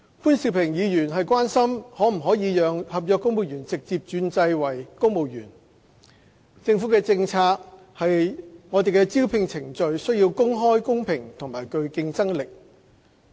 潘兆平議員關心可否讓合約員工直接轉為公務員，政府的政策是招聘程序需公開、公平和具競爭性。